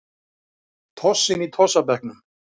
Tossinn í tossabekknum.